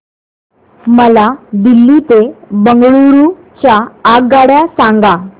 मला दिल्ली ते बंगळूरू च्या आगगाडया सांगा